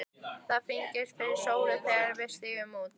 Það fennir fyrir sólu þegar við stígum út.